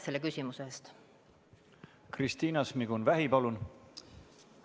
Kristina Šmigun-Vähi, palun!